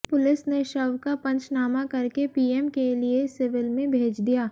police ने शव का पंचनामा करके पीएम के लिए सिविल में भेज दिया